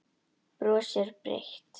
Brosir breitt.